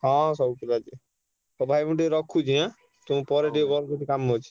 ହଁ ସବୁ ପିଲା ଯିବେ। ହଉ ଭାଇ ମୁଁ ଟିକେ ରଖୁଛି ଆଁ? ତମୁକୁ ପରେ ଟିକେ call କରୁଛି କାମ ଅଛି।